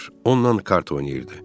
Onunla kart oynayırdı.